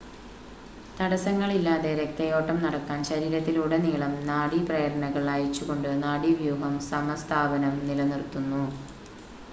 തടസ്സങ്ങളില്ലാതെ രക്തയോട്ടം നടക്കാൻ ശരീരത്തിലുടനീളം നാഡി പ്രേരണകൾ അയച്ചുകൊണ്ട് നാഡീവ്യൂഹം സമസ്ഥാപനം നിലനിർത്തുന്നു